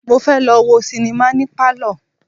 Mo fẹ́ lọ wo sinimá ní Pálọ̀.